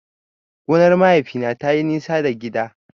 Gonar mahaifina tayi nisa da gida.